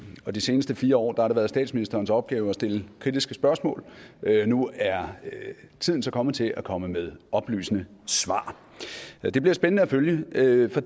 og de seneste fire år har det været statsministerens opgave at stille kritiske spørgsmål men nu er tiden så kommet til at komme med oplysende svar det bliver spændende at følge for